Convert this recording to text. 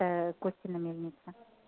костина мельница